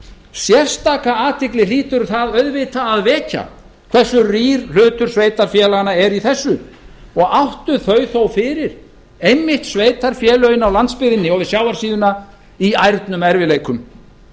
sérstaka athygli hlýtur að vekja hversu rýr hlutur sveitarfélaganna er í þessu og áttu þau þó fyrir einmitt sveitarfélögin á landsbyggðinni og við sjávarsíðuna í ærnum erfiðleikum